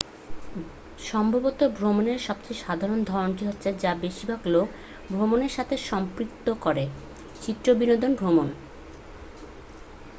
সম্ভবত ভ্রমণের সবচেয়ে সাধারণ ধরণটি হলো যা বেশিরভাগ লোক ভ্রমণের সাথে সম্পৃক্ত করেঃ চিত্তবিনোদন ভ্রমণ